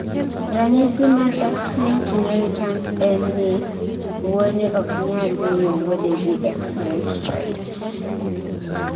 ranyisi mar X-linked inheritance en ni wuone oknyal miyo wuodegi X-linked traits